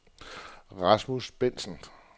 Rasmus Bendtsen